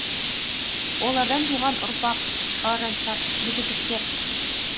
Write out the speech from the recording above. олардан туған ұрпақ шалажансар мүгедектер